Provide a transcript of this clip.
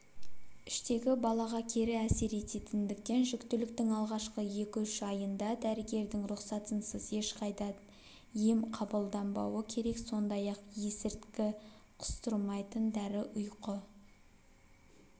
іштегі балаға кері әсер ететіндіктен жүктіліктің алғашқы екі-үш айында дәрігердің рұқсатынсыз ешқандай да ем қабылданбауы керек сондай-ақ есірткі құстырмайтын дәрі ұйқы